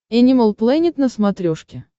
энимал плэнет на смотрешке